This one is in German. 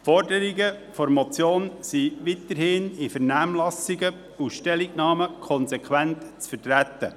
Die Forderungen der Motion sind weiterhin in Vernehmlassungen und Stellungnahmen konsequent zu vertreten.